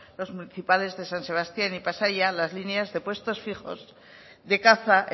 los principales de san sebastián y pasaia las líneas de puestos fijos de caza